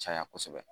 Caya kosɛbɛ